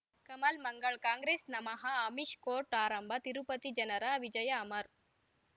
ಕಮಲ್ ಮಂಗಳ್ ಕಾಂಗ್ರೆಸ್ ನಮಃ ಅಮಿಷ್ ಕೋರ್ಟ್ ಆರಂಭ ತಿರುಪತಿ ಜನರ ವಿಜಯ ಅಮರ್